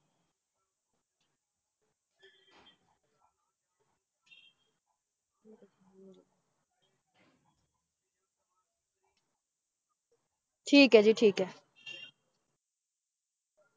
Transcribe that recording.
ਠੀਕ ਹੈ ਜੀ ਠੀਕ ਹੈ ।